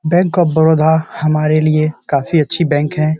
Bank of Baroda हमारे लिए काफी अच्छी बैंक है।